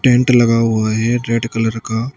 tent लगा हुआ है रेड कलर का--